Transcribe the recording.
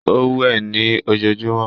Ó wẹ̀ ní ojojúmọ́.